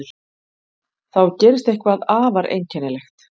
Þá gerist eitthvað afar einkennilegt.